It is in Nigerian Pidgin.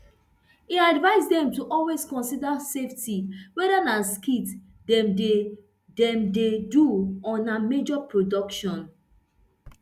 e advise dem to always consider safety weda na skit dem dey dem dey do or na major production